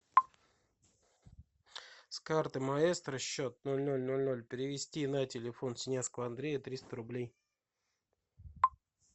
с карты маэстро счет ноль ноль ноль ноль перевести на телефон синявского андрея триста рублей